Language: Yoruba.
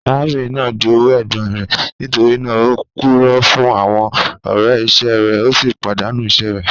Arábìnrin naá jówú ègbòn rẹ̀, nítorí naà ó púrọ̀ fún àwọn ọ̀rẹ̀ iṣẹ rẹ̀, o sì padàńú iṣẹ̀ rẹ̀.